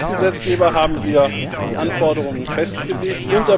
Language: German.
Als Mitgesetzgeber haben wir die Anforderungen festgelegt.